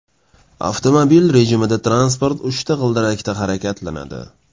Avtomobil rejimida transport uchta g‘ildirakda harakatlanadi.